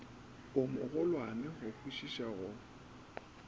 o mogolwane go kwišiša go